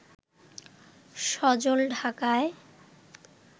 সজল ঢাকায়